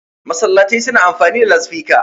masallatai suna amfani da lasifika